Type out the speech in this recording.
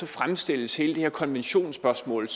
fremstilles hele det her konventionsspørgsmål